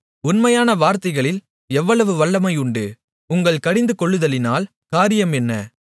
உண்மையான வார்த்தைகளில் எவ்வளவு வல்லமை உண்டு உங்கள் கடிந்துகொள்ளுதலினால் காரியம் என்ன